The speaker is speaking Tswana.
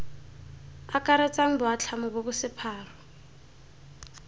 akaretsang boatlhamo bo bo sephara